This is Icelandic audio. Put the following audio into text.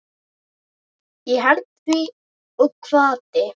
Ég hét því og kvaddi.